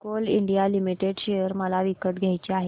Coal India Limited share मला विकत घ्यायचे आहेत